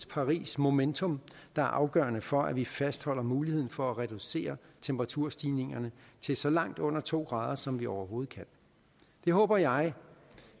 paris momentum der er afgørende for at vi fastholder muligheden for at reducere temperaturstigningerne til så langt under to grader som vi overhovedet kan det håber jeg